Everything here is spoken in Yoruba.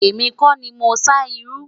èmi kò ní mọ sá iru